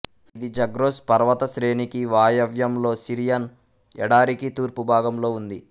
ఇది జగ్రోస్ పర్వతశ్రేణికి వాయవ్యంలో సిరియన్ ఎడారికి తూర్పు భాగంలో ఉంది